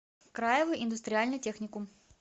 краевой индустриальный техникум